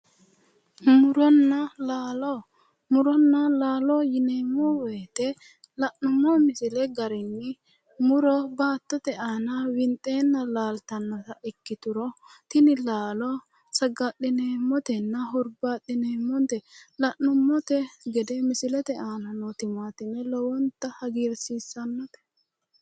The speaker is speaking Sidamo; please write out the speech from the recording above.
Muronna laalo. Muronna laalo yineemmo woyite la'nummo misile garinni muro baattote aana winxeenna laaltannota ikkituro tini laalo saga'lineemmotenna hurbaaxxineemmote. La'numonte gede misilete aana noo timaatime lowonta hagiirsiissannote.